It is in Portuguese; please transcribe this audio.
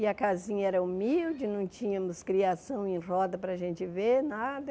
E a casinha era humilde, não tínhamos criação em roda para a gente ver, nada.